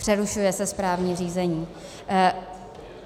Přerušuje se správní řízení.